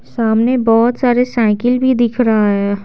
सामने बहुत सारे साइकिल भी दिख रहा है।